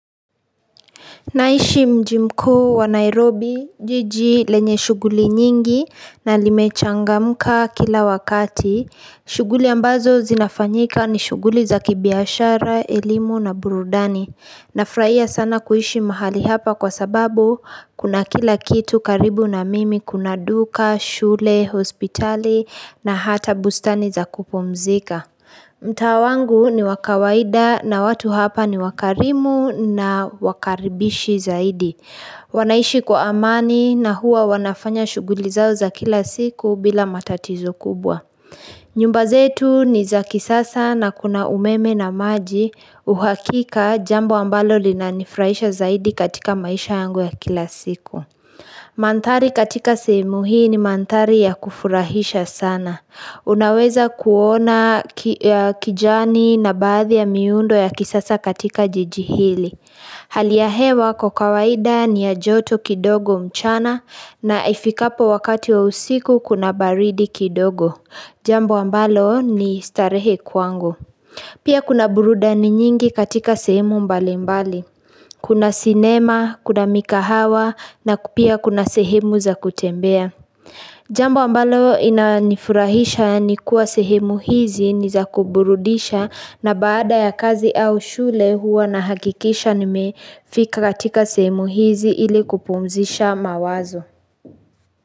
Naishi mji mkuu wa Nairobi, jiji lenye shughuli nyingi na limechangamuka kila wakati. Shughuli ambazo zinafanyika ni shughuli za kibiashara, elimu na burudani. Nafurahia sana kuishi mahali hapa kwa sababu kuna kila kitu karibu na mimi kuna duka, shule, hospitali na hata bustani za kupumzika. Mtaa wangu ni wakawaida na watu hapa ni wakarimu na wakaribishi zaidi. Wanaishi kwa amani na huwa wanafanya shughuli zao za kila siku bila matatizo kubwa. Nyumba zetu ni za kisasa na kuna umeme na maji. Uhakika jambo ambalo lina nifurahisha zaidi katika maisha yangu ya kila siku. Mantari katika sehemu hii ni mantari ya kufurahisha sana. Unaweza kuona kijani na baathi ya miundo ya kisasa katika jiji hili. Hali ya hewa kwa kawaida ni ya joto kidogo mchana na ifikapo wakati wa usiku kuna baridi kidogo. Jambo ambalo ni starehe kwangu. Pia kuna burudani nyingi katika sehemu mbalimbali. Kuna sinema, kuna mikahawa na pia kuna sehemu za kutembea. Jambo ambalo inanifurahisha ni kuwa sehemu hizi niza kuburudisha na baada ya kazi au shule huwa nahakikisha nimefika katika sehemu hizi ili kupumzisha mawazo.